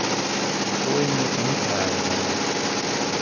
Sojenje pa ni trajalo dolgo.